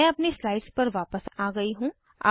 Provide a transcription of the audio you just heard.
मैं अपनी स्लाइड पर वापस आ गयी हूँ